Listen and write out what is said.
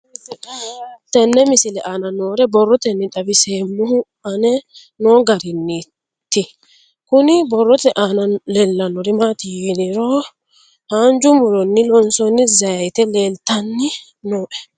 Tenne misile aana noore borroteni xawiseemohu aane noo gariniiti. Kunni borrote aana leelanori maati yiniro haanja muronno loonsonni zayite leelitanni nooe.